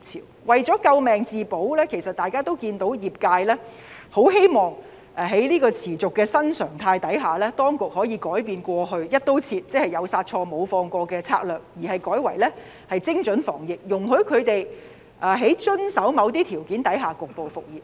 我們看到他們為了救命自保，業界希望在這個持續的新常態下，當局可以改變過去"一刀切"，即"有殺錯無放過"的策略，改為精準防疫，容許他們在遵守某些條件下局部復業。